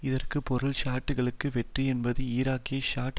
இதற்கு பொருள் ஷியைட்டுக்களுக்கு வெற்றி என்பதாகும் ஈராக்கிய ஷியைட்